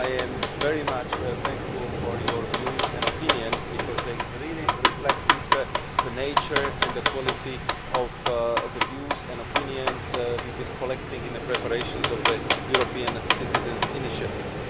However, I am very thankful for your views and opinions because they really reflected the nature and the quality of the views and opinions we have been collecting in the preparations of the European Citizens' Initiative.